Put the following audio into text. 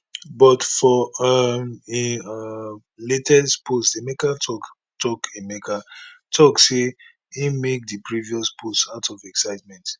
but for um im um latest post emeka tok tok emeka tok say im make di previous post out of excitement